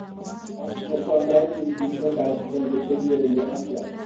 Osteochondritis dissecans ĩngĩteithĩrĩrio atĩa?